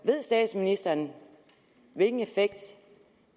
ved statsministeren hvilken effekt